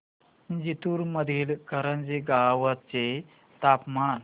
जिंतूर मधील करंजी गावाचे तापमान